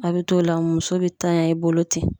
A be t'o la muso be tanya i bolo ten